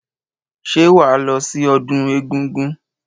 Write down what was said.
Ṣé wàá lọ sí ọdún egúngún?